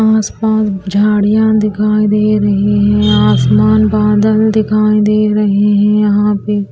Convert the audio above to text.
आस पास झाड़ियां दिखाई दे रही है आसमान बादल दिखाई दे रहे है यहां पे--